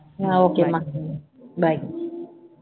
அஹ் okay ம்மா bye